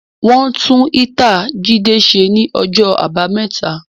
Wọn tún ítàa Jídé ṣe ní ọjọ́ àbámẹ́ta